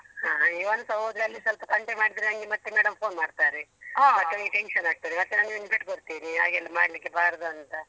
ಹ ಇವನ್ಸ ಹೋದ್ರೆ ಅಲ್ಲಿ ಸ್ವಲ್ಪ ತಂಟೆ ಮಾಡಿದ್ರೆ ನನ್ಗೆ ಮತ್ತೆ madam phone ಮಾಡ್ತಾರೆ. ಮತ್ತೆ ನನ್ಗೆ tension ಆಗ್ತದೆ ನಾನ್ ಒಂದು ಪೆಟ್ಟು ಕೊಡ್ತೀನಿ ಹಾಗೆಲ್ಲ ಮಾಡ್ಲಿಕ್ಕೆ ಬಾರ್ದು ಅಂತ.